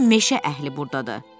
Bütün meşə əhli burdadır.